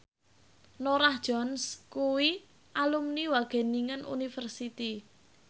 Norah Jones kuwi alumni Wageningen University